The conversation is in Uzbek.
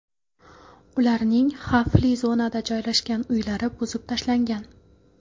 Ularning xavfli zonada joylashgan uylari buzib tashlangan.